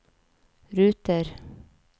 ruter